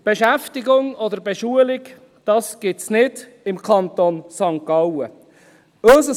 Beschäftigung oder Beschulung, das gibt es im Kanton St. Gallen nicht.